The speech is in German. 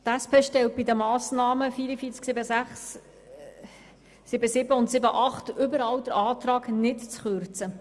Die SP-JUSO-PSA-Fraktion stellt bei den Massnahmen 44.7.6, 44.7.7 und 44.7.8 überall den Antrag, nicht zu kürzen.